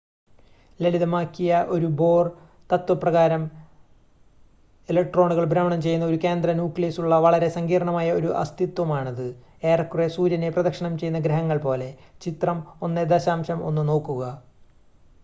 ലളിതമാക്കിയ ഒരു bohr തത്വ പ്രകാരം ഇലക്ട്രോണുകൾ ഭ്രമണം ചെയ്യുന്ന ഒരു കേന്ദ്ര ന്യൂക്ലിയസ് ഉള്ള വളരെ സങ്കീർണ്ണമായ ഒരു അസ്തിത്വമാണത് ഏറെക്കുറെ സൂര്യനെ പ്രദക്ഷിണം ചെയ്യുന്ന ഗ്രഹങ്ങൾ പോലെ ചിത്രം 1.1 നോക്കുക